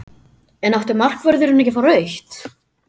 En átti markvörðurinn ekki að fá rautt?